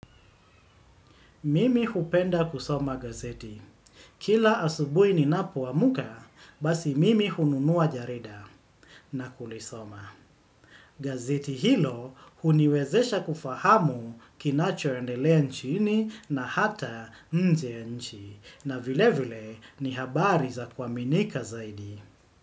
Mimi hupenda kusoma gazeti. Kila asubuhi ni napoamka, basi mimi hununua jarida na kulisoma. Gazeti hilo huniwezesha kufahamu kinachoendelea nchini na hata nje ya nchi. Na vile vile ni habari za kuaminika zaidi.